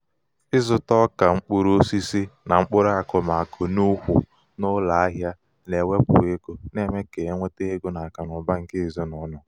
ịzụta ọka mkpụrụ osisi na mkpụrụ akụmakụ n'ùkwù n'ụlọ ahịa na-ewepụ ego na-eme ka enweta ego n'akụnaụba nke ezinaụlọ.